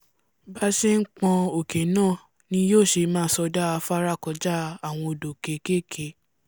bá ṣe ń pọ́́n òkè náà ni yó ṣe máa sọdá afárá kọjá àwọn odò kékèké